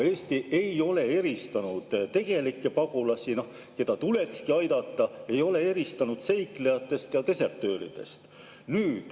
Eesti ei ole eristanud tegelikke pagulasi, keda tulekski aidata, seiklejatest ja desertööridest.